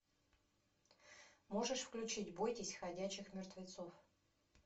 можешь включить бойтесь ходячих мертвецов